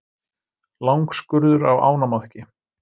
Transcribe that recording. Langskurður á ánamaðki.